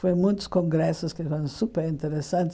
Foi muitos congressos que foram super interessantes.